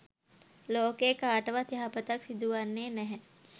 ලෝකයේ කාටවත් යහපතක් සිදුවන්නේ නැහැ.